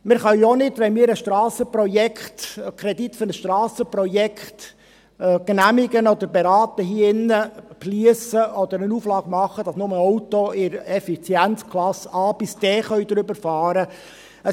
Man kann ja auch nicht – wenn wir hier drin einen Kredit für ein Strassenprojekt genehmigen oder beraten – beschliessen oder eine Auflage machen, dass nur Autos mit der Effizienzklasse A–D darüberfahren dürfen.